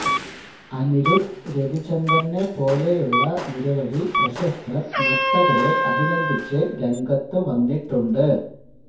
അനിരുദ്ധ് രവിചന്ദറിനെ പോലെയുള്ള നിരവധി പ്രശസ്തർ നർത്തകരെ അഭിനന്ദിച്ച് രംഗത്തു വന്നിട്ടുണ്ട്